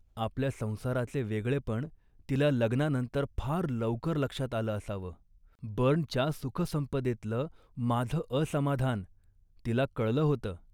आपल्या संसाराचे वेगळेपण तिला लग्नानंतर फार लवकर लक्षात आलं असावं. बर्नच्या सुखसंपदेतलं माझं असमाधान तिला कळलं होतं